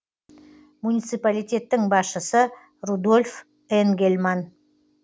муниципалитеттің басшысы рудольф энгельман